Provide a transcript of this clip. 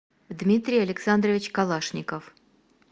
дмитрий александрович калашников